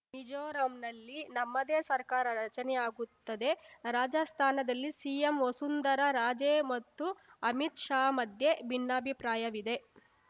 ಮಿಜೋರಂನಲ್ಲಿ ನಮ್ಮದೇ ಸರ್ಕಾರ ರಚನೆಯಾಗುತ್ತದೆ ರಾಜಸ್ಥಾನದಲ್ಲಿ ಸಿಎಂ ವಸುಂಧರಾ ರಾಜೇ ಮತ್ತು ಅಮಿತ್‌ ಶಾ ಮಧ್ಯೆ ಭಿನ್ನಾಭಿಪ್ರಾಯವಿದೆ